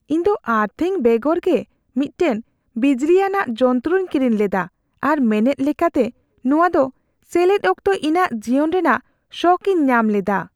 ᱤᱧᱫᱚ ᱟᱨᱛᱷᱤᱝ ᱵᱮᱜᱚᱨ ᱜᱮ ᱢᱤᱫᱴᱟᱝ ᱵᱤᱡᱽᱞᱤᱭᱟᱱᱟᱜ ᱡᱚᱱᱛᱚᱨᱚᱧ ᱠᱤᱨᱤᱧ ᱞᱮᱫᱟ ᱟᱨ ᱢᱮᱱᱮᱫ ᱞᱮᱠᱟᱛᱮ ᱱᱚᱶᱟ ᱫᱚ ᱥᱮᱞᱮᱫ ᱚᱠᱛᱚ ᱤᱧᱟᱹᱜ ᱡᱤᱭᱚᱱ ᱨᱮᱱᱟᱜ ᱥᱚᱠ ᱤᱧ ᱧᱟᱢ ᱞᱮᱫᱟ ᱾